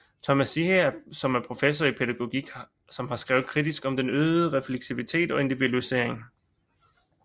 Thomas Ziehe som er professor i pædagogik som har skrevet kritisk om den øgede refleksivitet og individualisering